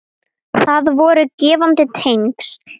Það voru gefandi tengsl.